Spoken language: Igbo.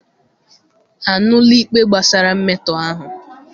Anụla ikpe gbasara mmetọ ahụ?